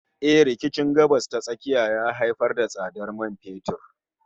Eh, rikicin Gabas ta Tsakiya ya haifar da tsadar man fetur